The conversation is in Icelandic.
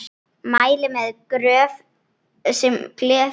Mæli með Gröf sem gleður.